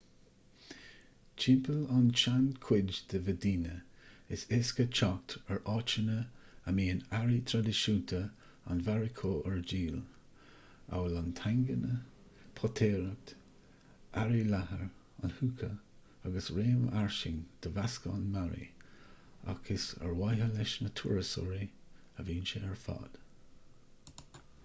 timpeall ar an tseanchuid de mheidíne is éasca teacht ar áiteanna a mbíonn earraí traidisiúnta an mharacó ar díol amhail an tagine potaireacht earraí leathair an hookah agus réim fhairsing de mheascán mearaí ach is ar mhaithe leis na turasóirí a bhíonn sé ar fad